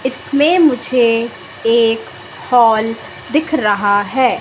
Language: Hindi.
इसमें मुझे एक हॉल दिख रहा है।